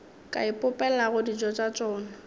ka ipopelago dijo tša tšona